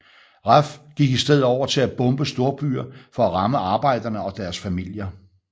RAF gik i stedet over til at bombe storbyer for at ramme arbejderne og deres familier